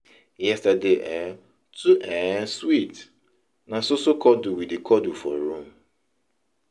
Yesterday um too um sweet, na so so cuddle we dey cuddle for room.